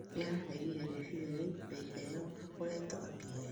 Nĩararegĩre rĩcĩrĩa rĩũ na ĩheo akoretwo akĩheo